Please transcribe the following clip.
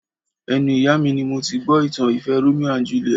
Ẹnu ìyá mi ni mo ti gbọ́ ìtàn ìfẹ́ Romeo and Juliet